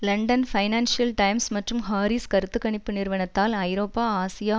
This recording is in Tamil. லண்டன் பைனான்சியல் டைம்ஸ் மற்றும் ஹாரீஸ் கருத்து கணிப்பு நிறுவனத்தால் ஐரோப்பா ஆசியா